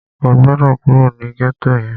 O gbọ́dọ̀ kúrò ní gẹ́tò yẹn!